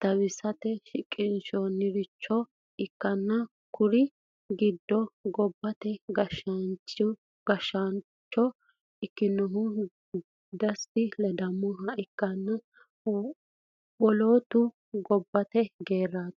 tawisate qitesinonniricho ikana Kuri gidono gobate gashshancho ikinohu desta ledamo ikana wolotuno gobate gerati.